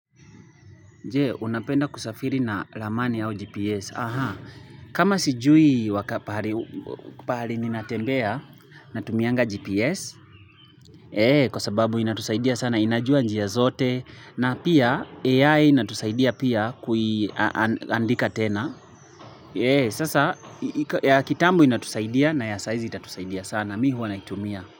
Je, unapenda kusafiri na lamani au GPS. Aha. Kama sijui wakapahali ninatembea na tumianga GPS. Eee, kwa sababu inatusaidia sana inajua njia zote. Na pia, AI inatusaidia pia kuiandika tena. Eee, sasa, ya kitambo inatusaidia na ya saizi itatusaidia sana. Mi huwa naitumia.